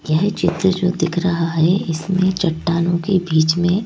यह चित्र जो दिख रहा है इसमें चट्टानों के बीच में--